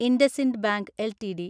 IndusInd bank LTD